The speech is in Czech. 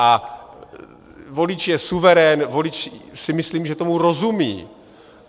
A volič je suverén, volič si myslím, že tomu rozumí.